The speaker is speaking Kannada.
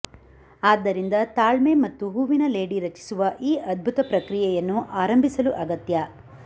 ಆದ್ದರಿಂದ ತಾಳ್ಮೆ ಮತ್ತು ಹೂವಿನ ಲೇಡಿ ರಚಿಸುವ ಈ ಅದ್ಭುತ ಪ್ರಕ್ರಿಯೆಯನ್ನು ಆರಂಭಿಸಲು ಅಗತ್ಯ